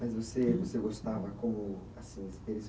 Mas você você gostava, como, assim